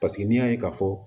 Paseke n'i y'a ye ka fɔ